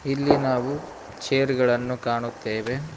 ಇಲ್ಲಿ ನಾವು ಚೇರ್ ಗಳನ್ನು ಕಾಣುತ್ತೆವೆ.